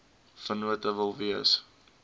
vennote wil wees